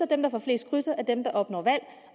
dem der får flest krydser er dem der opnår valg